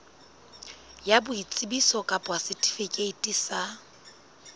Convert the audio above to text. ya boitsebiso kapa setifikeiti sa